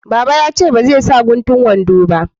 Baba ya ce ba zai sa guntun wando ba